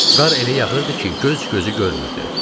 Qar elə yağırdı ki, göz gözü görmürdü.